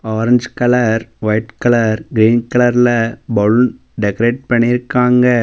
Orange colour white colour green கலர்ல balloon decorate பண்ணிருக்காங்க.